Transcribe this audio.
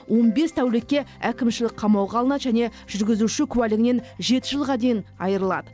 он бес тәулікке әкімшілік қамауға алынады және жүргізуші куәлігінен жеті жылға дейін айырылады